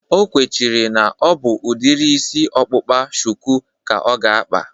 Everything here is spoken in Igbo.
O kwechiri na ọ bụ udiri isi ọkpụkpa shuku ka ọ ga-akpa